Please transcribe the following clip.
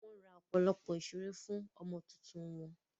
Wọ́n ra ọ̀pọ̀lọpọ̀ ìṣeré fún ọmọ tuntun wọn.